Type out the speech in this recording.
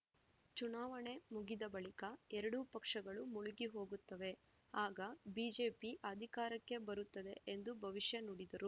ಚುನಾವಣೆ ಮುಗಿದ ಬಳಿಕ ಎರಡೂ ಪಕ್ಷಗಳು ಮುಳುಗಿ ಹೋಗುತ್ತವೆ ಆಗ ಬಿಜೆಪಿ ಅಧಿಕಾರಕ್ಕೆ ಬರುತ್ತದೆ ಎಂದು ಭವಿಷ್ಯ ನುಡಿದರು